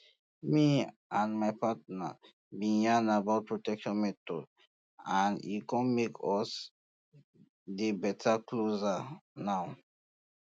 me and my partner been yan about protection methods and e come make us dey beta closer now